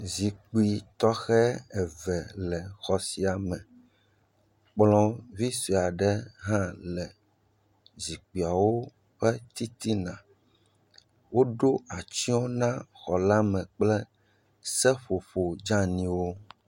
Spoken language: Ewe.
Zikpui tɔxɛ eve le xɔ sia me, kplɔ vi sɔe aɖe hã le zikpuiawo titina, woɖo atsyɔ na xɔ la me kple seƒoƒo dzaniwo.